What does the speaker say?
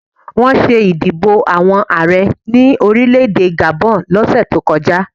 Wọ́n ṣé ìdìbò àwọn Ààrẹ ní orílẹ̀-èdè Gabon lọ́sẹ̀ tó kọjá